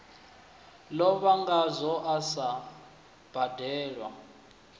lovha ngazwo a sa badelwe